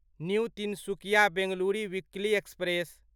new Tinsukia Bengaluru weekly express